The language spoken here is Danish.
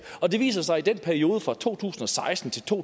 og det viser sig at i den periode fra to tusind og seksten til to